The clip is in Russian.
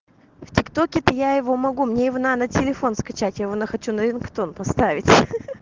в тик-токе то я его могу мне его надо на телефон скачать я его хочу на хочу на рингтон поставить ха-ха